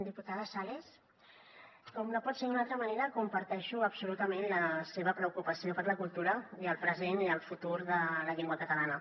diputada sales com no pot ser d’una altra manera comparteixo absolutament la seva preocupació per la cultura i el present i el futur de la llengua catalana